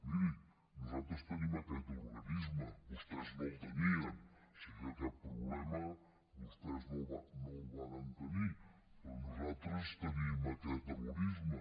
mirin nosaltres tenim aquest organisme vostès no el tenien o sigui que aquest problema vostès no el varen tenir però nosaltres tenim aquest organisme